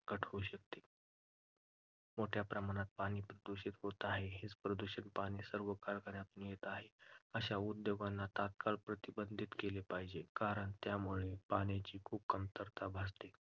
घट होऊ शकते. मोठ्या प्रमाणात पाणी प्रदूषण होत आहे, हेच प्रदूषित पाणी सर्व कारखान्यांतून येत आहे. अशा उद्योगांना तत्काळ प्रतिबंधित केले पाहिजे कारण त्यामुळे पाण्याची खूप कमतरता भासते.